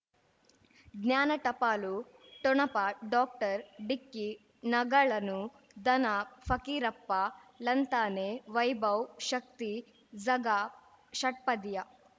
ಜ್ಞಾನ ಟಪಾಲು ಠೊಣಪ ಡಾಕ್ಟರ್ ಢಿಕ್ಕಿ ಣಗಳನು ಧನ ಫಕೀರಪ್ಪ ಳಂತಾನೆ ವೈಭವ್ ಶಕ್ತಿ ಝಗಾ ಷಟ್ಪದಿಯ